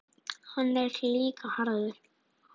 Hann er líka harður.